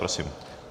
Prosím.